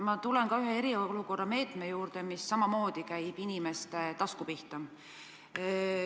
Ma tulen ka ühe eriolukorra meetme juurde, mis samamoodi käib inimeste tasku pihta.